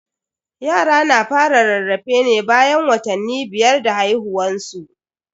Yara na fara rarrafe ne bayan watanni biyar da haihuwan su.